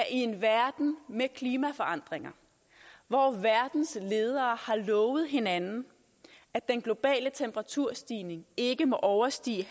en verden med klimaforandringer hvor verdens ledere har lovet hinanden at den globale temperaturstigning ikke må overstige en